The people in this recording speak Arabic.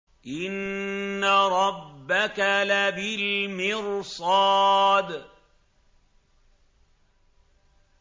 إِنَّ رَبَّكَ لَبِالْمِرْصَادِ